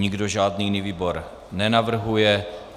Nikdo žádný jiný výbor nenavrhuje.